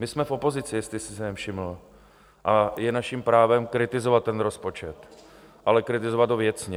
My jsme v opozici, jestli jste si nevšiml, a je naším právem kritizovat ten rozpočet, ale kritizovat ho věcně.